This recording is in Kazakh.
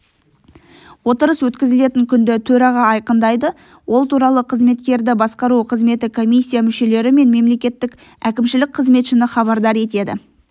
отырыс өткізілетін күнді төраға айқындайды ол туралы қызметкерді басқару қызметі комиссия мүшелері мен мемлекеттік әкімшілік қызметшіні хабардар етеді